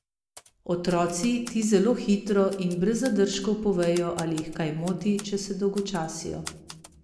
Otroci ti zelo hitro in brez zadržkov povejo, ali jih kaj moti, če se dolgočasijo ...